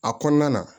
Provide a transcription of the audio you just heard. A kɔnɔna na